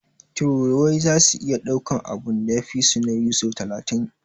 Tururuwai zasu iya daukan abun da ya fisu nauyi sau talatin.